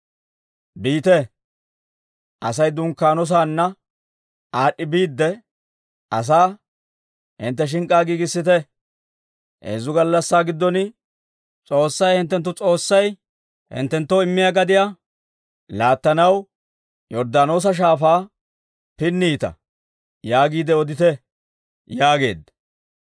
«Biite; Asay dunkkaano saanna aad'd'i biidde, asaa, ‹Hintte shink'k'aa giigissite; heezzu gallassaa giddon, S'oossay hinttenttu S'oossay hinttenttoo immiyaa gadiyaa laattanaw Yorddaanoosa Shaafaa pinniita› yaagiide odite» yaageedda.